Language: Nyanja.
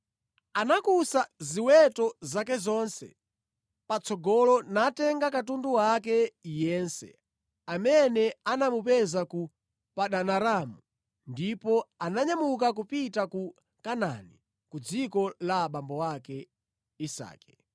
anakusa ziweto zake zonse patsogolo natenga katundu wake yense amene anamupeza ku Padanaramu, ndipo ananyamuka kupita ku Kanaani, ku dziko la abambo ake, Isake.